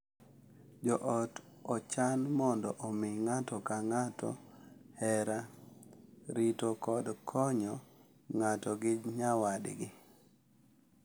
Jo ot ochan mondo omi ng’ato ka ng’ato hera, rito, kod konyo ng’ato gi nyawadgi,